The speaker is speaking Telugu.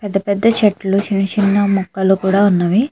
పెద్ద పెద్ద చెట్లు చిన్న చిన్న మొక్కలు కూడా ఉన్నవి.